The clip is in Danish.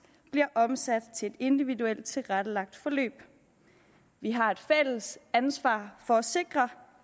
bliver omsat til et individuelt tilrettelagt forløb vi har et fælles ansvar for at sikre